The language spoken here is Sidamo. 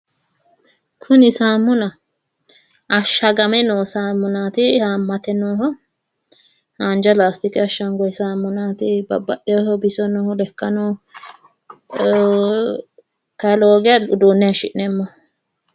Kuni saamunaho. ashshagame noo saamunaati haammate nooha haanja laastikenni ashshangoyi saamunaati, baxxewooho bisono lekkano kayii lowo geeshsha uduunne haayiishshi'neemmoho.